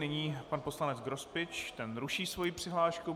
Nyní pan poslanec Grospič, ten ruší svoji přihlášku.